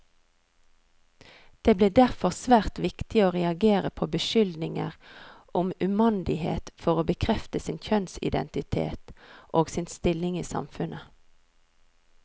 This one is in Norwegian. Det ble derfor svært viktig å reagere på beskyldninger om umandighet for å bekrefte sin kjønnsidentitet, og sin stilling i samfunnet.